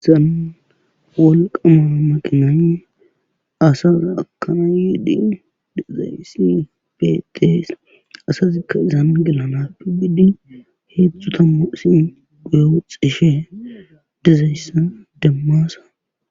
Haysan wolqama makimnay asa ekana yiid dizays betes,asazika izan gelanatho gidi hedzdzu tamua asayi guye woxishe dizaysa demasa.